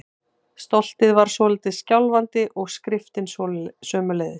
Stoltið var svolítið skjálfandi- og skriftin sömuleiðis.